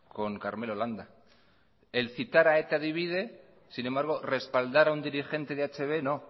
con karmelo landa el citar a eta divide sin embargo respaldar a un dirigente de hb no